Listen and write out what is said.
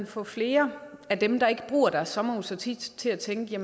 få flere af dem der ikke bruger deres sommerhus så tit til at tænke